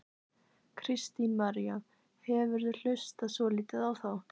Kristín María: hefurðu hlustað svolítið á þá?